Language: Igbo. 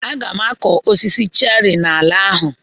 Aga m akụ osisi cheri n'ala ahụ.